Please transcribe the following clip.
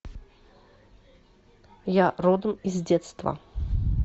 я родом из детства